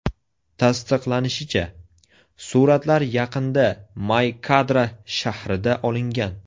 Tasdiqlanishicha, suratlar yaqinda May-Kadra shahrida olingan.